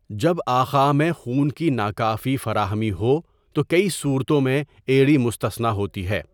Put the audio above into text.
جب اعخاء میں خون کی ناکافی فراہمی ہو تو کئی صورتوں میں ایڑی مستثنیٰ ہوتی ہے۔